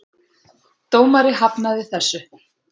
Dómari hafnaði þessu.